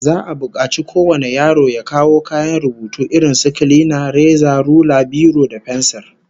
Za'a bukaci kowane yaro ya kawo kayan rubutu irin su kilina, reza, rula, biro da fensir